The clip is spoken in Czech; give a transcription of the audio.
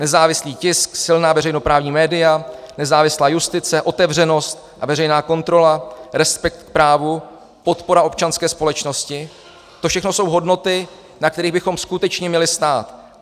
Nezávislý tisk, silná veřejnoprávní média, nezávislá justice, otevřenost a veřejná kontrola, respekt k právu, podpora občanské společnosti, to všechno jsou hodnoty, na kterých bychom skutečně měli stát.